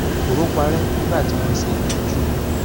koro parẹ nigba ti won se itọju